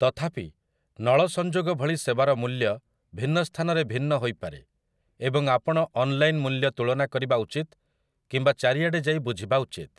ତଥାପି, ନଳ ସଂଯୋଗ ଭଳି ସେବାର ମୂଲ୍ୟ ଭିନ୍ନ ସ୍ଥାନରେ ଭିନ୍ନ ହୋଇପାରେ, ଏବଂ ଆପଣ ଅନ୍‌ଲାଇନ୍‌‌ ମୂଲ୍ୟ ତୁଳନା କରିବା ଉଚିତ କିମ୍ବା ଚାରିଆଡ଼େ ଯାଇ ବୁଝିବା ଉଚିତ ।